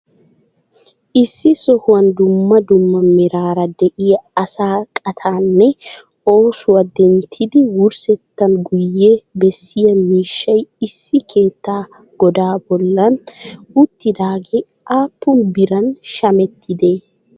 Issi sohuwan dummaa dummaa meraara de'iya asaa qaattanne oosuwaa denttiddi wurssettan guyye beessiyaa miishshay issi keettaa godaa bollan uttidagee appun biran shameettidee?